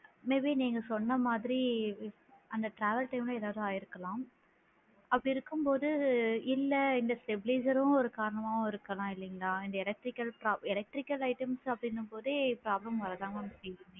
Maybe நீங்க சொன்ன மாதிரி அந்த travel time ல ஏதாவது ஆகிஇருக்கலாம் அப்படி இருக்கும் போது இல்ல இந்த stabiliser சும் ஒரு காரணமாக இருக்கலாம் இல்லைங்களா இந்த electrical சா electrical items அப்படின்னும் போதே problem வர தான் mam செய்யும்.